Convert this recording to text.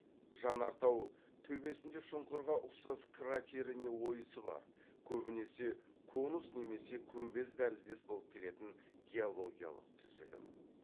жанартау төбесінде шұңқырға ұқсас кратері не ойысы бар көбінесе конус немесе күмбез тәріздес болып келетін геологиялық түзілім